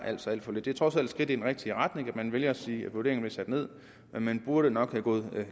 altså er for lidt det er trods alt et skridt i den rigtige retning at man vælger at sige at vurderingerne bliver sat ned men man burde nok være gået